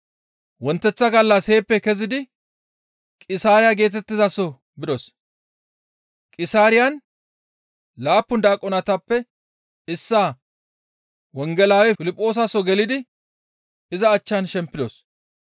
Wonteththa gallas heeppe kezidi Qisaariya geetettizaso bidos; Qisaariyan laappun daaqonetappe issaa wongelaawe Piliphoosaso gelidi iza achchan shempidos.